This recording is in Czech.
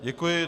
Děkuji.